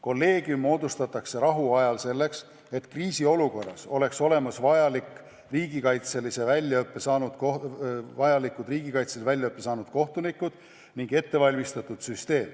Kolleegium moodustatakse rahuajal selleks, et kriisiolukorras oleks olemas vajalikud riigikaitselise väljaõppe saanud kohtunikud ning süsteem oleks ette valmistatud.